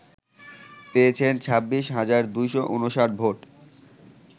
পেয়েছেন ২৬ হাজার ২৫৯ ভোট